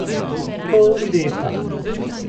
Pol leta!